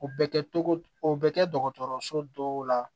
O bɛ kɛ togo di o bɛ kɛ dɔgɔtɔrɔso dɔw la